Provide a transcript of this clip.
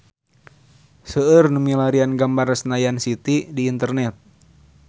Seueur nu milarian gambar Senayan City di internet